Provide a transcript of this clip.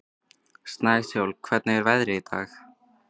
Snæsól, hvernig er veðrið í dag?